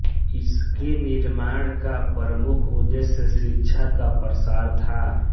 इसके निर्माण का प्रमुख उद्देश्य शिक्षा का प्रसार था